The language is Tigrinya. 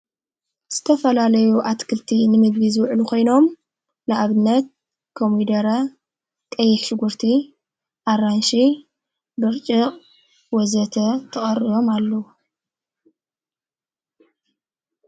ዝተፈላለዩ ኣትክልቲ ንምድቢዝ ዕሉ ኾይኖም ንእብነት ከምደረ ጠይክሽጉርቲ ኣራንሽ ድርጭቕ ወዘተ ተቐርዮም ኣሉዉ።